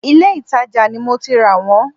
Ìlé-ìtajà ni mo ti rà wọ́n